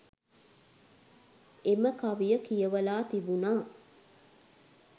එම කවිය කියවලා තිබුණා